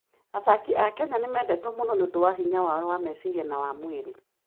Athaki a Kenya nĩ mendetwo mũno nĩ ũndũ wa hinya wao wa meciria na wa mwĩrĩ.